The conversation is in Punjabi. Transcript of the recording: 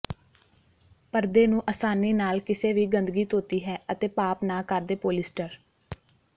ਪਰਦੇ ਨੂੰ ਆਸਾਨੀ ਨਾਲ ਕਿਸੇ ਵੀ ਗੰਦਗੀ ਧੋਤੀ ਹੈ ਅਤੇ ਪਾਪ ਨਾ ਕਰਦੇ ਪੋਲਿਸਟਰ